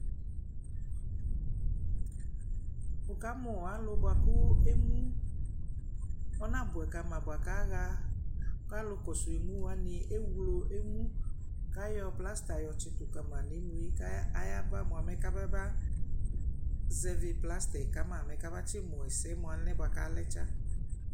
wʋ kamʋ alʋ bʋakʋ ɛmʋ ɔna bʋɛ kama bʋakʋ aha alʋ kɔsʋ ɛmʋ wani ɛwlɔ ɛmʋ kayɔ plaster yɔ tsitʋ kama nʋ ɛmʋɛ kʋ aya ba mʋa kama zɛvi plasterɛ kama tsi mʋ ɛsɛ mʋ alɛnɛ bʋakʋ alɛ tsa